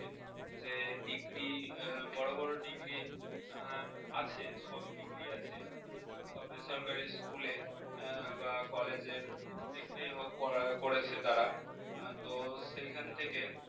যে degree বড় বড় degree আছে সবই degree আছে সব বেসরকারি school এ বা college এর যেখানেই হোক করা~ করেছে তারা তো সেখান থেকে